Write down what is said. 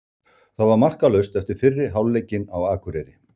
Það var markalaust eftir fyrri hálfleikinn á Akureyri.